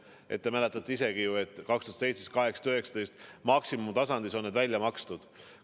Küllap te mäletate ise ka, et aastail 2017, 2018 ja 2019 said need maksimumtasemel välja makstud.